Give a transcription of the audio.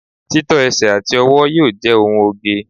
tító ẹsẹ ati ọwọ yíò je ohun oge